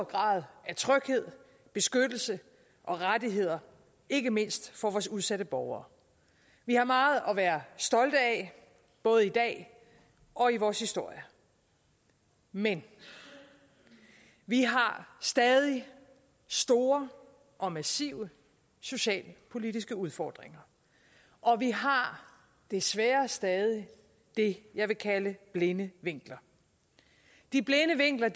grad af tryghed beskyttelse og rettigheder ikke mindst for vores udsatte borgere vi har meget at være stolte af både i dag og i vores historie men vi har stadig store og massive socialpolitiske udfordringer og vi har desværre stadig det jeg vil kalde blinde vinkler de blinde vinkler